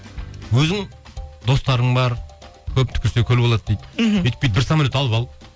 өзің достарың бар көп түкірсе көл болады дейді мхм өйтіп бүйтіп бір самолет алып ал